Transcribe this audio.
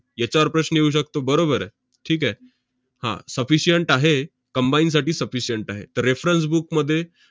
याच्यावर प्रश्न येऊ शकतो. बरोबर आहे. ठीक आहे? हा, sufficient आहे, combine साठी sufficient आहे. reference book मध्ये